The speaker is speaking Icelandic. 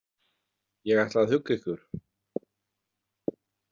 Ég ætla að hugga ykkur.